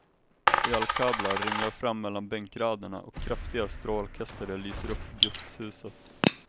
Elkablar ringlar fram mellan bänkraderna och kraftiga strålkastare lyser upp gudshuset.